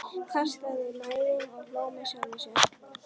Kastaði mæðinni og hló með sjálfum sér.